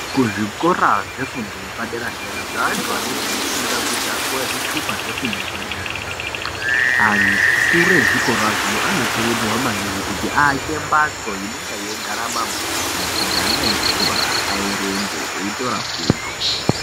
Kuzvikora zvefundo yepaderadera zveantu anenge efunda kuti apiwe zvitupa zvefundo yepaderadera akuru ezvikorazvo anokurudzirwa maningi kuti aake mbatso inonga yeigara mabhuku kuti ana echikora aerenge eitora fundo.